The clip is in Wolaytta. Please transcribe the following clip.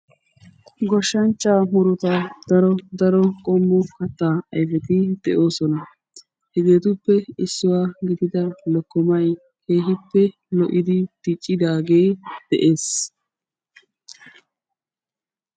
Goshshanchchaa murutaa daro daro qommo kattaa ayfeti de'oosona. hegeetuppe issuwaa gidida lokkomay keehippe lo'idi diccidaagee de'ees.